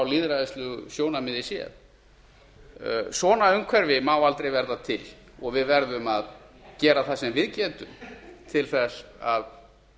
lýðræðislegu sjónarmiði séð svona umhverfi má aldrei verða til og við verðum að gera það sem við getum til að